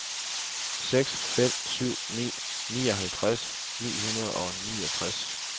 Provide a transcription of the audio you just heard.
seks fem syv ni nioghalvtreds ni hundrede og niogtres